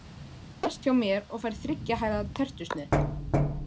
Hann sest hjá mér og fær þriggja hæða tertusneið.